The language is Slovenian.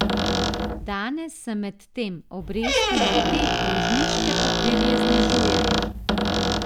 Danes se medtem obresti na te dolžniške papirje znižujejo.